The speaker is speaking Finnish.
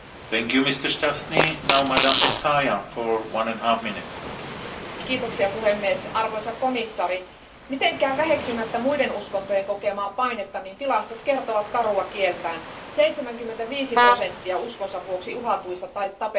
Arvoisa puhemies, arvoisa komissaari, en halua mitenkään väheksyä muiden uskontojen kokemaa painetta, mutta tilastot kertovat karua kieltään 75 prosenttia uskontonsa vuoksi uhatuista tai tapetuista on kristittyjä ja noin sata miljoonaa kristittyä eri puolilla maailmaa kohtaa